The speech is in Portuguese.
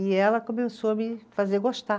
E ela começou a me fazer gostar.